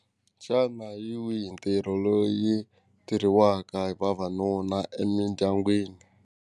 Xana hi wihi ntirho loyi tirhiwaka hi vavanuna emindyangwini.